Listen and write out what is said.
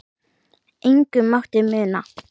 Engu mátti muna.